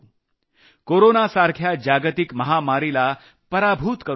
कोरोनासारख्या जागतिक महामारीला पराभूत करू शकू